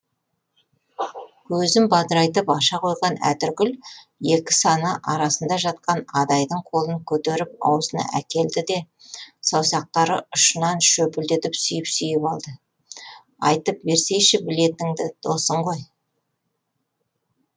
көзін бадырайтып аша қойған әтіркүл екі саны арасында жатқан адайдың қолын көтеріп аузына әкелді де саусақтары ұшынан шөпілдетіп сүйіп сүйіп алды айтып берсейші білетініңді досың ғой